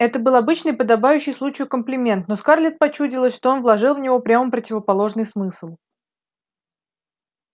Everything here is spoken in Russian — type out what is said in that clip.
это был обычный подобающий случаю комплимент но скарлетт почудилось что он вложил в него прямо противоположный смысл